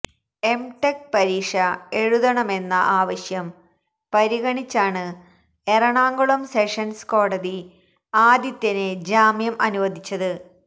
M tech പരീക്ഷ എഴുതണമെന്ന ആവശ്യം പരിഗണിച്ചാണ് എറണാകുളം സെഷൻസ് കോടതി ആദിത്യന് ജാമ്യം അനുവദിച്ചത്